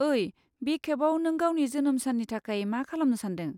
ओइ, बे खेबाव नों गावनि जोनोम साननि थाखाय मा खालामनो सानदों?